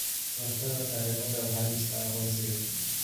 Barashada taariikhda waxay dhistaa aqoonsiga.